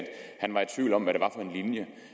han var i tvivl om hvad at